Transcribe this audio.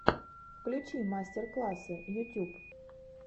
включи мастер классы ютюб